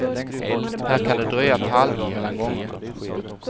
Här kan det dröja ett halvår mellan gångerna.